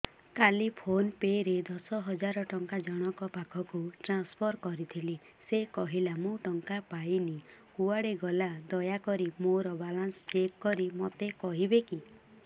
କାଲି PhonePe ରେ ଦଶ ହଜାର ଟଙ୍କା ଜଣକ ପାଖକୁ ଟ୍ରାନ୍ସଫର୍ କରିଥିଲି ସେ କହିଲା ମୁଁ ଟଙ୍କା ପାଇନି କୁଆଡେ ଗଲା ଦୟାକରି ମୋର ବାଲାନ୍ସ ଚେକ୍ କରି ମୋତେ କହିବେ କି